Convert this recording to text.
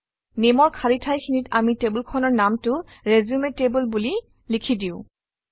Name অৰ খালী ঠাইখিনিত আমি টেবুলখনৰ নামটো ৰিচিউম টেবল বুলি লিখি দিওঁ